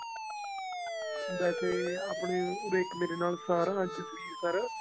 ਵੇਸੇ ਆਪਣੇ ਉਰੇ ਇੱਕ ਮੇਰੇ ਨਾਲ department ਚ ਸੀ ਸਰ